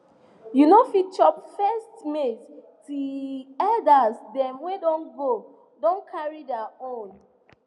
you no fit chop first maize till elders dem wey don go don carry their own